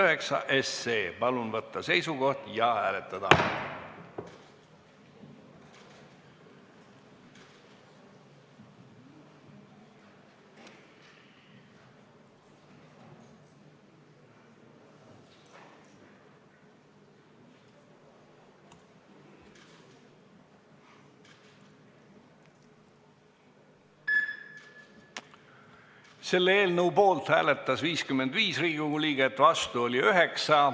Hääletustulemused Selle eelnõu poolt hääletas 55 Riigikogu liiget, vastu oli 9.